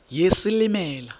yesilimela